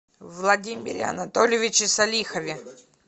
владимире анатольевиче салихове